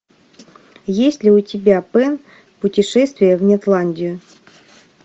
есть ли у тебя пэн путешествие в нетландию